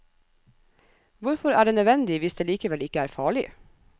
Hvorfor er det nødvendig hvis det likevel ikke er farlig?